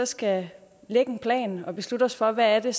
skal lægge en plan og beslutte os for hvad det